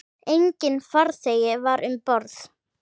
Enginn farþegi var um borð.